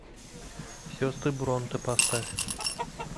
сестры бронте поставь